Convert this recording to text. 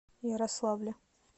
ярославле